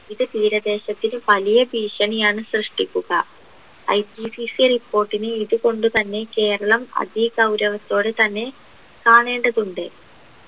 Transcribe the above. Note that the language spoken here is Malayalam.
ഇത് തീരദേശത്തിൻ്റെ വലിയ ഭീഷണിയാണ് സൃഷ്‌ടിക്കുക IPCCreport ന് ഇതു കൊണ്ടുതന്നെ കേരളം അതെ ഗൗരവത്തോടെതന്നെ കാണേണ്ടതുണ്ട്